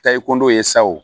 Tayondo ye sa o